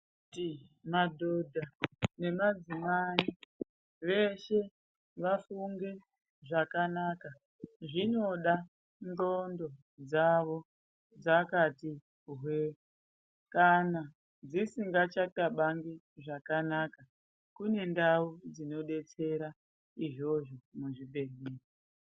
Nekuti madhodha nemadzimai veshe vafunge zvakanaka. Zvinoda ndxondo dzavo dzakati hwee. Kana dzisingachakabangi zvakanaka kune ndau dzinobetsera izvozvo muzvibhedhlera.